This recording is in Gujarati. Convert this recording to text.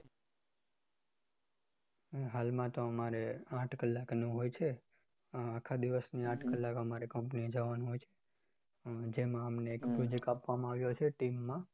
હાલમાં તો અમારે આઠ કલાકનું હોય છે આખા દિવસની આઠ કલાક company એ જવાનું હોય છે જેમાં અમને project આપ્યો છે team માં